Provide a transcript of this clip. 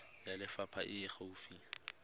ya lefapha e e gaufi